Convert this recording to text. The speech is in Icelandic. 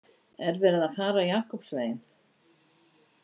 Er verið að fara Jakobsveginn?